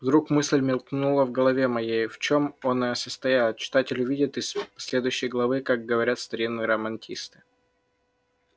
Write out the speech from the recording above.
вдруг мысль мелькнула в голове моей в чём оная состояла читатель увидит из следующей главы как говорят старинные романисты